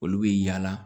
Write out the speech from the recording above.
Olu bɛ yaala